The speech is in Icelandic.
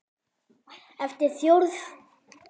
eftir Þórð Jónsson